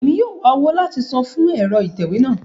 Emi yóò wa owo lati san fun ẹrọ itẹwe náà